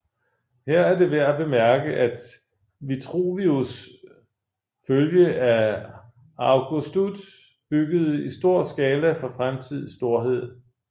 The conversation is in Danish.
Her er det værd at bemærke at Vitruvius følge at Augustud byggede i stor skala for fremtidig storhed